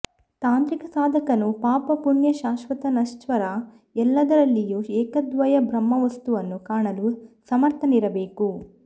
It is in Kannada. ತಾಂತ್ರಿಕ ಸಾಧಕನು ಪಾಪ ಪುಣ್ಯ ಶಾಶ್ವತ ನಶ್ವರ ಎಲ್ಲದರಲ್ಲಿಯೂ ಏಕಾದ್ವಯ ಬ್ರಹ್ಮವಸ್ತುವನ್ನು ಕಾಣಲು ಸಮರ್ಥನಿರಬೇಕು